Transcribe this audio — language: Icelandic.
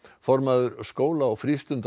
formaður skóla og